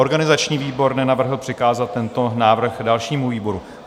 Organizační výbor nenavrhl přikázat tento návrh dalšímu výboru.